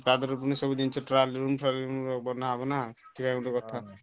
ତାଦରେ ପୁଣି ସବୁ ଜିନିଷ trial room ଫ୍ରାଏଲ ରୁମ ବନ ହବ ନା ଠିଆ ହେଇକି ଗୁଟେ କଥା ନା।